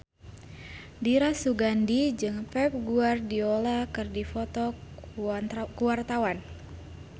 Dira Sugandi jeung Pep Guardiola keur dipoto ku wartawan